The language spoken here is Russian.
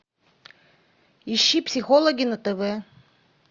ищи психологи на тв